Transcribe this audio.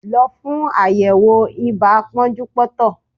Lọ fún àyẹ̀wò ibà pọ́njúpọ́ntọ̀!